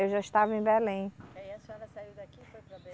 Eu já estava em Belém. Aí a senhora saiu daqui e foi para